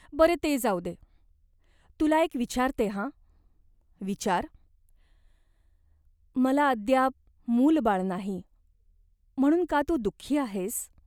बरे, ते जाऊ दे. तुला एक विचारते हा." "विचार." "मला अद्याप मूलबाळ नाही, म्हणून का तू दुःखी आहेस ?